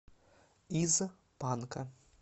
из панка